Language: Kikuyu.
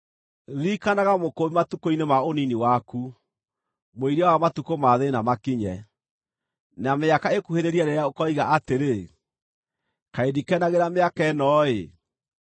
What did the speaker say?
Ririkanaga Mũkũũmbi matukũ-inĩ ma ũnini waku, mũiria wa matukũ ma thĩĩna makinye, na mĩaka ĩkuhĩrĩrie rĩrĩa ũkoiga atĩrĩ, “Kaĩ ndikenagĩra mĩaka ĩno-ĩ”: